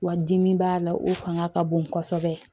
Wa dimi b'a la o fanga ka bon kosɛbɛ